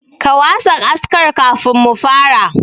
Ka wasa askar kafin mu fara.